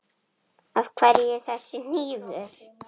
Af hverju þessi hnífur?